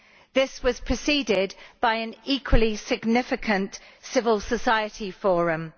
This was preceded by an equally significant civil society forum.